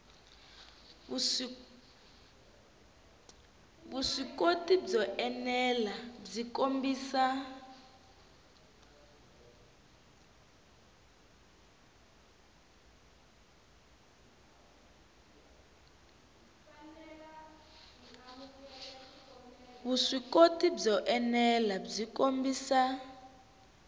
vuswikoti byo enela byi kombisa